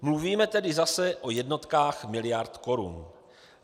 Mluvíme tedy zase o jednotkách miliard korun.